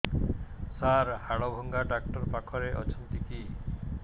ସାର ହାଡଭଙ୍ଗା ଡକ୍ଟର ପାଖରେ ଅଛନ୍ତି କି